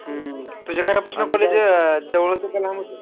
हम्म तुझ्या घरापासून college जवळ होतं की लांब होतं?